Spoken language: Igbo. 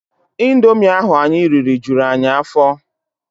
Indomi ahụ anyị riri juru anyị afọ.